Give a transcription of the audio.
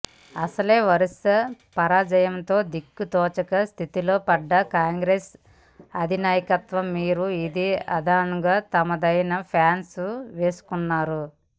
అసలే వరస పరాజయాలతో దిక్కు తోచని స్థితిలో పడ్డ కాంగ్రెస్ అధినాయకత్వం మీద ఇదే అదనుగా తమదైన ప్లాన్స్ వేస్తున్నారు